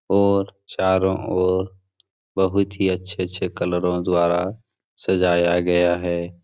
और चारो ओर बहुत ही अच्छे-अच्छे कलरो द्वारा सजाया गया है।